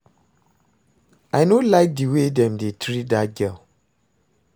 I no like the way dem dey treat dat girl